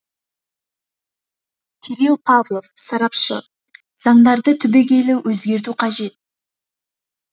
кирилл павлов сарапшы заңдарды түбегейлі өзгерту қажет